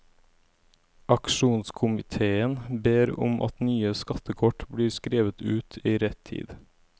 Aksjonskomitéen ber om at nye skattekort blir skrevet ut i rett tid.